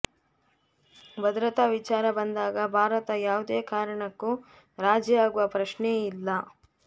ಭದ್ರತಾ ವಿಚಾರ ಬಂದಾಗ ಭಾರತ ಯಾವುದೇ ಕಾರಣಕ್ಕೂ ರಾಜಿಯಾಗುವ ಪ್ರಶ್ನೆಯೇ ಇಲ್ಲ